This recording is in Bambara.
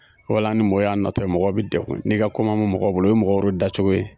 Fɔlɔ la ni mɔgɔw y'a natɔ ye, mɔgɔw bɛ defun n'i ka kɔɲɛ bɛ mɔgɔ bolo, obye mɔgɔ yɛrɛ da cogo ye.